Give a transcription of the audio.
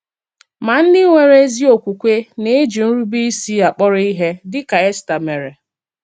Ma ndị nwere ezi okwukwe na-eji nrubeisi akpọrọ ihe, díkà Èstà mere.